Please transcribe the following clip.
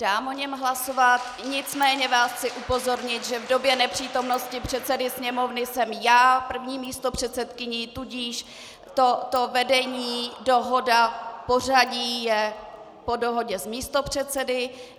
Dám o něm hlasovat, nicméně vás chci upozornit, že v době nepřítomnosti předsedy Sněmovny jsem já první místopředsedkyní, tudíž to vedení, dohoda, pořadí, je po dohodě s místopředsedy.